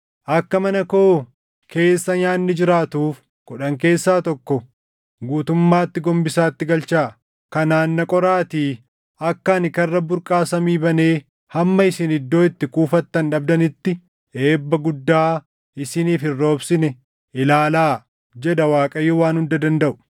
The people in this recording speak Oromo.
Akka mana koo keessa nyaanni jiraatuuf, kudhan keessa tokko guutummaatti gombisaatti galchaa. Kanaan na qoraatii akka ani karra burqaa samii banee hamma isin iddoo itti kuufattan dhabdanitti eebba guddaa isiniif hin roobsine ilaalaa” jedha Waaqayyo Waan Hunda Dandaʼu.